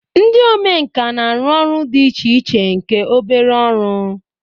Ndị omenkà na-arụ ọrụ dị iche iche nke obere ọrụ